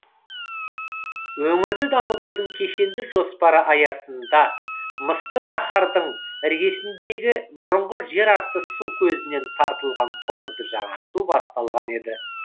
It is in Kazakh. өңірді дамытудың кешенді жоспары аясында мысты шаһардың іргесіндегі бұрынғы жерасты су көзінен тартылған құбырды жаңарту басталған еді